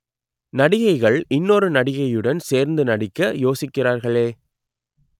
நடிகைகள் இன்னொரு நடிகையுடன் சேர்ந்து நடிக்க யோசிக்கிறார்களே